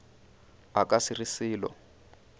a ka se re selo